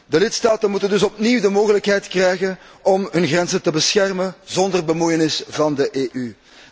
De lidstaten moeten dus opnieuw de mogelijkheid krijgen om hun grenzen te beschermen zonder bemoeienis van de EU.